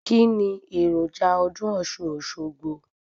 Kíni èròjà ọdún ọ̀ṣun - òṣogbo?